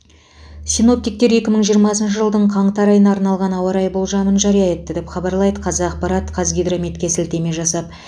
синоптиктер екі мың жиырмасыншы жылдың қаңтар айына арналған ауа райы болжамын жария етті деп хабарлайды қазақпарат қазгидрометке сілтеме жасап